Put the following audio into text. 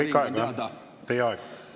Teie aeg!